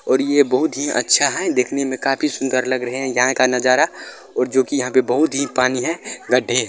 और ये बहुत ही अच्छा है देखने में काफी सूंदर लग रहे है यहाँ का नज़ारा और जो की यहाँ पे बहुत ही पानी है गढ्ढे--